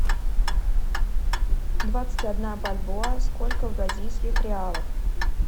двадцать одна бальбоа сколько в бразильских реалах